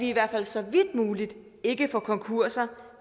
i hvert fald så vidt muligt ikke får konkurser